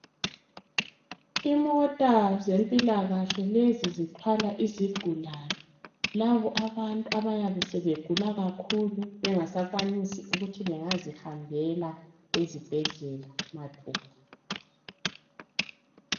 Imota zempilakahle lezi zithwala izigulani , labo abantu abayabe sebegula kakhulu bengasakwanisi ukuthi bengazihambela ezibhedlela mathupha.